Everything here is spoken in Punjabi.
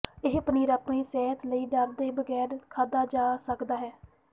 ਇਹ ਪਨੀਰ ਆਪਣੀ ਸਿਹਤ ਲਈ ਡਰ ਦੇ ਬਗੈਰ ਖਾਧਾ ਜਾ ਸਕਦਾ ਹੈ